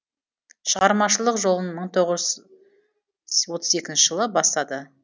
шығармашылық жолын мың тоғыз жүз отыз екінші жылы бастады